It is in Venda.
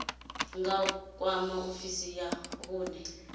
nga kwama ofisi ya vhune